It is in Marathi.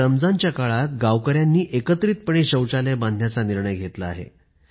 या रमजानच्या काळात गावकऱ्यांनी एकत्रितपणे शौचालय बांधण्याचा निर्णय घेतला आहे